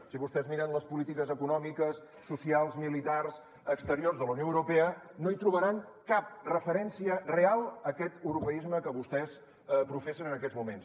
si vostès miren les polítiques econòmiques socials militars exteriors de la unió europea no hi trobaran cap referència real a aquest europeisme que vostès professen en aquests moments